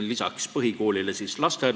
Lisaks põhikoolile on lasteaed.